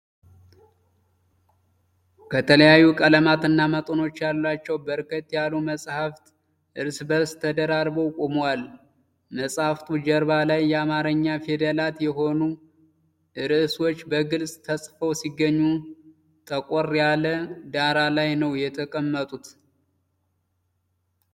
ከተለያዩ ቀለማትና መጠኖች ያሏቸው በርከት ያሉ መጻሕፍት እርስ በእርስ ተደራርበው ቆመዋል። የመጻሕፍቱ ጀርባ ላይ የአማርኛ ፊደላት የሆኑ ርዕሶች በግልጽ ተጽፈው ሲገኙ ጠቆር ያለ ዳራ ላይ ነው የተቀመጡት።